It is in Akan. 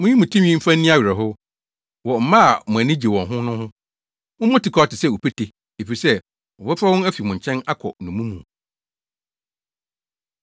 Munyi mo tinwi mfa nni awerɛhow, wɔ mma a mo ani gye wɔn ho no ho; mommɔ tikwaw te sɛ opete, efisɛ, wɔbɛfa wɔn afi mo nkyɛn akɔ nnommum mu.